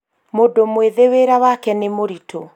mũndũ mwĩthĩ wĩra wake nĩ mũritũ